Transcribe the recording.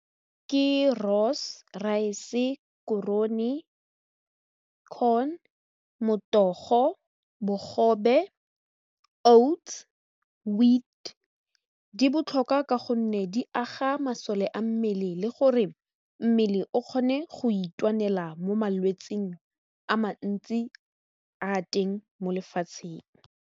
Ke , rice, korone, corn, motogo, bogobe, oats, wheat, di botlhokwa ka gonne di aga masole a mmele le gore mmele o kgone go itwanela mo malwetsing a mantsi a teng mo lefatsheng.